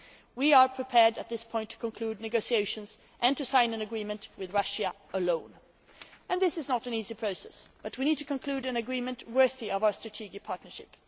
WTO. We are prepared at this point to conclude negotiations and to sign an agreement with Russia alone, and this is not an easy process, but we need to conclude an agreement worthy of our strategic partnership.